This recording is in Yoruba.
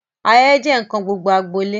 Ayẹyẹ jẹ nkan gbogbo agbolé.